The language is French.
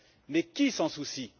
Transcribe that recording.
Mais qui s'en soucie?